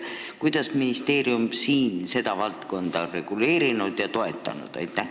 Kuidas on ministeerium seda valdkonda reguleerinud ja toetanud?